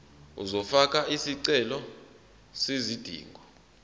uzofaka isicelo sezidingo